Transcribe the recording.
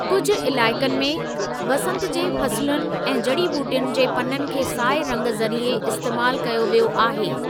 कुझ इलाइक़नि में, वसंत जी फसुलनि ऐं जड़ी ॿूटियुनि जे पननि खे साए रंग ज़रिए इस्‍तेमाल कयो वियो आहे।